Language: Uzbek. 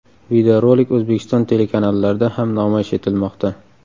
Videorolik O‘zbekiston telekanallarda ham namoyish etilmoqda.